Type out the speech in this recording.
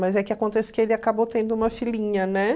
Mas é que acontece que ele acabou tendo uma filhinha, né?